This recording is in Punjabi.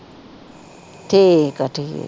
ਠੀਕ ਆ ਠੀਕ